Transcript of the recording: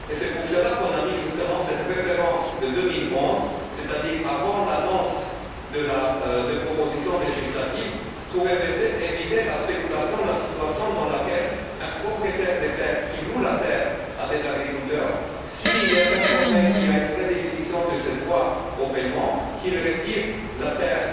C'est pour cela que l'on a justement mis cette référence de 2011, c'est à dire avant l'annonce de la proposition législative pour éviter la spéculation de la situation dans laquelle un propriétaire de terres qui loue la terre à des agriculteurs, s'il est informé qu'il y a une redéfinition de ce droit au paiement, qu'il retire la terre